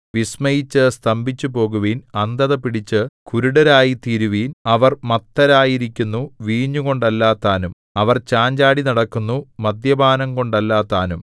വിസ്മയിച്ചു സ്തംഭിച്ചുപോകുവിൻ അന്ധതപിടിച്ചു കുരുടരായിത്തീരുവിൻ അവർ മത്തരായിരിക്കുന്നു വീഞ്ഞുകൊണ്ടല്ലതാനും അവർ ചാഞ്ചാടിനടക്കുന്നു മദ്യപാനംകൊണ്ടല്ലതാനും